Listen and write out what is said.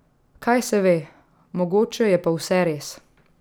Kaj se ve, mogoče je pa vse res.